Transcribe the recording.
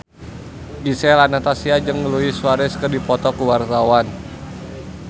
Gisel Anastasia jeung Luis Suarez keur dipoto ku wartawan